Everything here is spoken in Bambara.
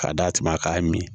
K'a d'a tigi ma k'a mi